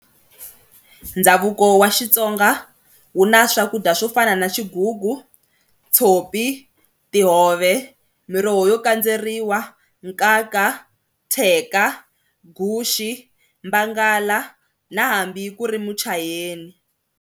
Ndhavuko wa Xitsonga wu na swakudya swo fana na xigugu, tshopi, tihove, miroho yo kandzeriwa, nkanka, theka, guxe, bangala na hambi ku ri muchayeni.